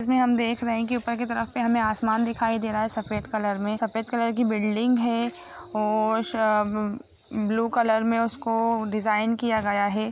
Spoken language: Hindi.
इसमें हम देख रहे हैं की ऊपर की तरफ हमे आसमान दिखाई दे रहा है सफेद कलर में सफ़ेद कलर की बिल्डिंग है और स उस ब्लू कलर में उसको डिजाइन किया गया हैं।